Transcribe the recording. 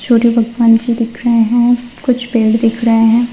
और ये भगवान जी दिख रहे हैं कुछ पेड़ दिख रहे हैं।